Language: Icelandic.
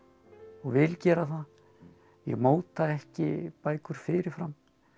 og vil gera það ég móta ekki bækur fyrir fram